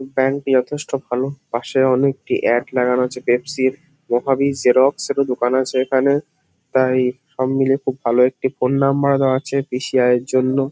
Bank -টি যথেষ্ট ভালো। পাশে অনেকটি অ্যাড লাগানো আছে পেপসি -র মহাবীর জেরক্স -এরও দোকান আছে এখানে তাইইইই সব মিলিয়ে খুব ভালো একটি ফোন নাম্বার -ও দেওয়া আছে বেশি আয়ের জন্য।